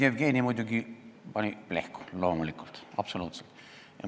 Jevgeni muidugi pani nüüd plehku, loomulikult!